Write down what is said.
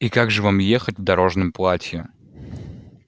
и как же вам ехать в дорожном платье